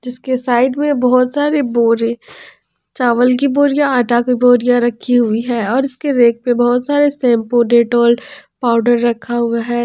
इसके साइड में बहोत सारे बोरे चावल की बोरियां आटा की बोरियां रखी हुई है और इसके रैक पे बहोत सारे शैंपू डेटॉल पाउडर रखा हुआ है।